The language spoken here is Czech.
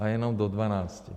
A jenom do dvanácti.